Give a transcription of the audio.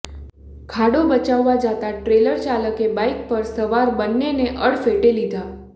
ખાડો બચાવવા જતા ટ્રેલર ચાલકે બાઈક પર સવાર બન્નેને અડફેટે લીધા